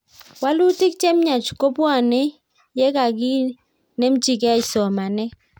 Walutik che miach ko bwoni ye kakinemchigei somanet